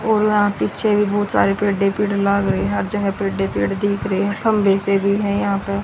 और यहां पीछे भी बहुत सारे पेड़ ही पेड़ लाग रहे हैं हर जगह पेड़ ही पेड़ दिख रहे हैं खंबे से भी हैं यहां पे।